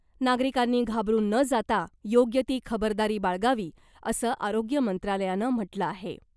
नागरिकांनी घाबरून न जाता , योग्य ती खबरदारी बाळगावी , असं आरोग्य मंत्रालयानं म्हटलं आहे .